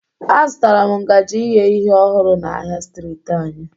Azụtara m ngaji ighe ihe ọhụrụ na ahịa streeti anyị